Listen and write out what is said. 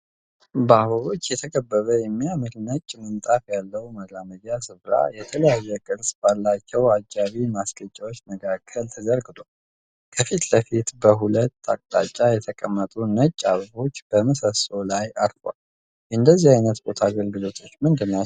በአበቦች የተከበበ የሚያምር ነጭ ምንጣፍ ያለው መራመጃ ስፍራ የተለያየ ቅርጽ ባላቸው አጃቢ ማስጊጫዎች መካከል ተዘርግቷል። ከፊት ለፊትም በሁለት አቅታጫ የተቀመጡ ነጭ አበቦች በምሰሶው ላይ አርፈዋል። የእንደዚህ አይነት ቦታ አገልግሎት ምንድን ነው?